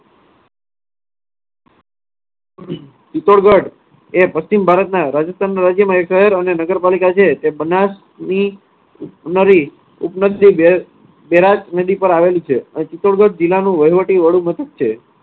ચિત્તોડગઢ એ પશ્ચિમ ભારતના રાજસ્થાન રાજ્યમાં એક શહેર અને નગરપાલિકા છે. તે બનાસની બે~બૈરાજ નદી પર આવેલું છે. ચિત્તોડગઢ જિલ્લાનું વહીવટી વડુમથક છે.